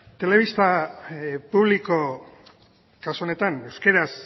telebista publiko kasu honetan euskaraz